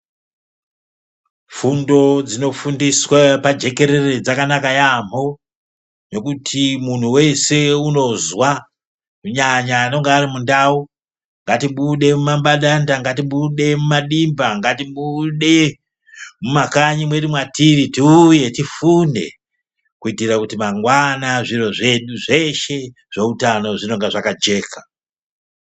Fundo dzinofundiswe pajekerere dzakanaka yaambo, ngekuti muntu weshe unozwa. Kunyanya anonga ari mundau ngatibude mumabandanda, ngatibude mumadimba, ngatibude mumakanyi mwedu mwatiri tiuye tifunde. Kuitira kuti mangwani zviro zvedu zveshe zveutano zvinonga zvakajeka.